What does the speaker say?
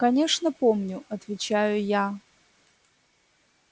конечно помню отвечаю я